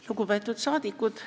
Lugupeetud saadikud!